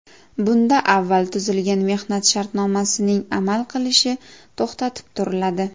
Bunda avval tuzilgan mehnat shartnomasining amal qilishi to‘xtatib turiladi.